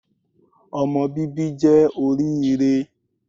Ọmọ bíbí jẹ́ oríire